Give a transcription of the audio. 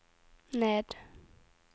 ned